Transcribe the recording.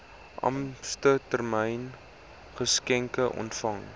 ampstermyn geskenke ontvang